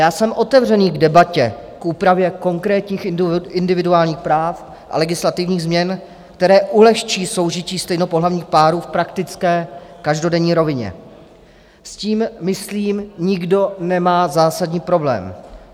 Já jsem otevřený k debatě k úpravě konkrétních individuálních práv a legislativních změn, které ulehčí soužití stejnopohlavních párů v praktické každodenní rovině, s tím myslím nikdo nemá zásadní problém.